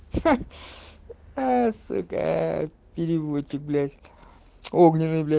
ха аа сукаа переводчик блять огненный блять